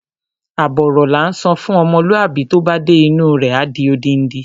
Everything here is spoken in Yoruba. Àbọ̀ ọ̀rọ̀ la ńsọ fún ọmọlúwàbí, tó bá dé inú u rẹ̀, á di odindi.